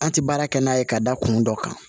An tɛ baara kɛ n'a ye ka da kun dɔ kan